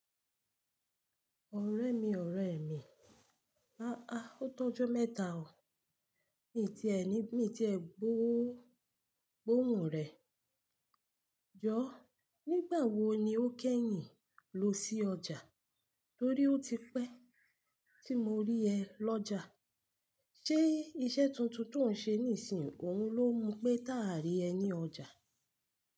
Ọ̀rẹ́ mi, ọ̀rẹ́ mi, ahah, o tọ́jo mẹ́ta o. Mi ti ẹni, mi ti ẹ gbọ́, gbọ́ òun rẹ̀. Jọ̀ọ́, nígbà wo ni ó kẹ́yìn ló sí ọjà torí ó ti pẹ́ tí mo rí ẹ lọ́jà? Ṣé iṣẹ́ tuntun tò ń ṣe nísìn yìí òun ló mú pé tà á rí ẹ ní ọjà?